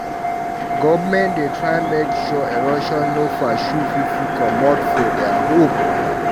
Government dey try make sure erosion no pursue pipu comot for there home.